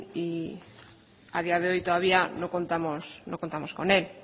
y a día de hoy todavía no contamos con él